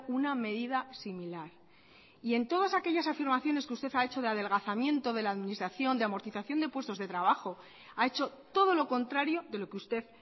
una medida similar y en todas aquellas afirmaciones que usted ha hecho de adelgazamiento de la administración de amortización de puestos de trabajo ha hecho todo lo contrario de lo que usted